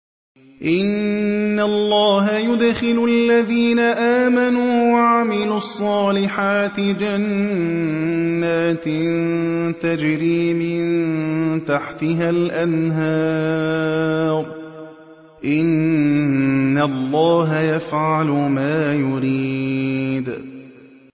إِنَّ اللَّهَ يُدْخِلُ الَّذِينَ آمَنُوا وَعَمِلُوا الصَّالِحَاتِ جَنَّاتٍ تَجْرِي مِن تَحْتِهَا الْأَنْهَارُ ۚ إِنَّ اللَّهَ يَفْعَلُ مَا يُرِيدُ